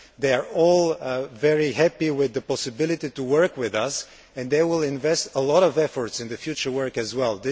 They are all very happy with the possibility of working with us and they will invest great effort in the future work as well.